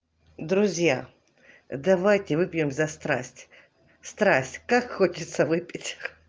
друзья давайте выпьем за страсть страсть как хочется выпить